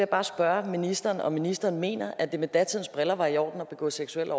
bare spørge ministeren om ministeren mener at det med datidens briller var i orden at begå seksuelle